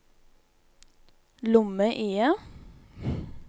lomme-IE